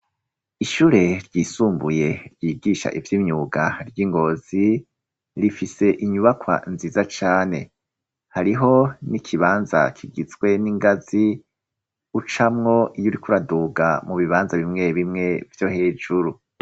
Ishure ryisumbuye ryigisha ivy'imyuga ry'ingozi rifise inyubakwa nziza cane hariho n'ikibanza kigizwe n'ingazi ucamwo iyuriko uraduga mu bibanza bimwe bimwe vyo hejuru.